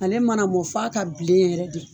Ale ma na mɔn f'a ka bilen yɛrɛ de.